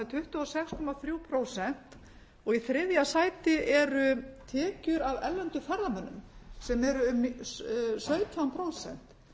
tuttugu og sex komma þrjú prósent og í þriðja sæti eru tekjur af erlendum ferðamönnum sem eru um sautján prósent